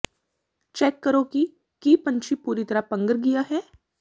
check ਕਰੋ ਕਿ ਕੀ ਪੰਛੀ ਪੂਰੀ ਪੰਘਰ ਗਿਆ ਹੈ